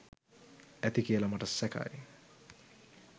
ඇති කියල මට සැකයි.